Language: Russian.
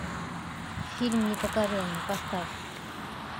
фильм непокоренный поставь